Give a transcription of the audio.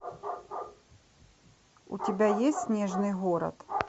у тебя есть снежный город